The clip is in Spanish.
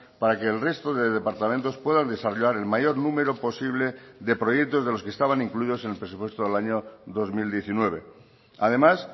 para que el resto de departamentos puedan desarrollar el mayor número posible de proyectos de los que estaban incluidos en el presupuesto del año dos mil diecinueve además